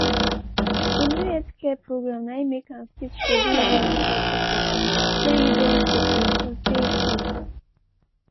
a new healthcare program na im make am fit schedule one medical checkup wey e don suppuse do tey tey.